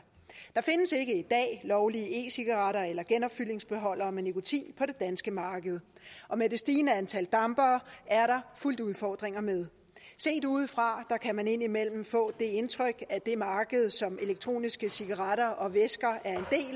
der findes ikke i dag lovlige e cigaretter eller genopfyldningsbeholdere med nikotin på det danske marked og med det stigende antal dampere er der fulgt udfordringer med set udefra kan man indimellem få det indtryk at det marked som elektroniske cigaretter og væsker